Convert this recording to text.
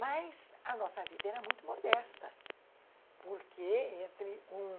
Mas a nossa vida era muito modesta, porque entre um...